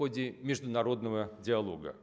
в ходе международного диалога